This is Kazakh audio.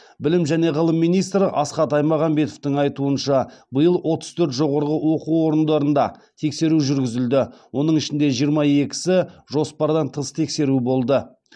білім және ғылым министрі асхат аймағамбетовтің айтуынша биыл отыз төрт жоғарғы оқу орындарында тексеру жүргізілді оның ішінде жиырма екісі жоспардан тыс тексеру болды